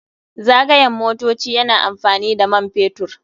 Zagayen motoci yana amfani da man fetur.